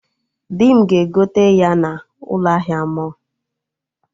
Dị m ga-egote ya na ụlọ ahịa mọlụ